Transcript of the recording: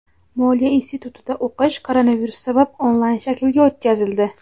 Moliya institutida o‘qish koronavirus sabab onlayn shaklga o‘tkazildi.